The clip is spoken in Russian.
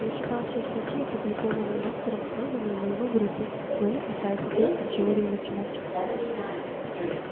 я читал все статьи опубликованные доктором сэлдоном и его группой но они касаются только теории математики